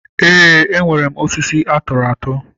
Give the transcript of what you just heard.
Eé, enwere m osisi atụrụ atụ.